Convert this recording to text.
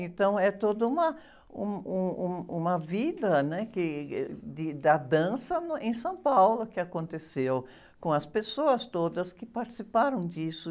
Então, é toda uma, um, um, um, uma vida que, de, da dança em São Paulo que aconteceu, com as pessoas todas que participaram disso.